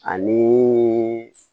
Ani